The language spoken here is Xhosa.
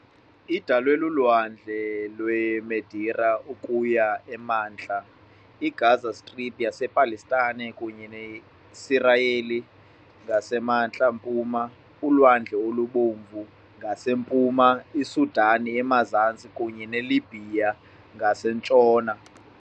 Idalwe luLwandle lweMeditera ukuya emantla, iGaza Strip yasePalestine kunye noSirayeli ngasemantla-mpuma, uLwandle oluBomvu ngasempuma, iSudan emazantsi, kunye neLibhiya ngasentshona .